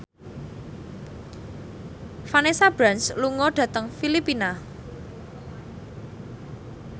Vanessa Branch lunga dhateng Filipina